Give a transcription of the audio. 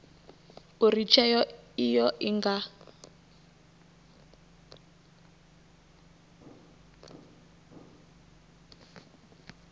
uri tsheo iyo i nga